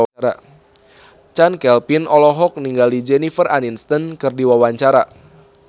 Chand Kelvin olohok ningali Jennifer Aniston keur diwawancara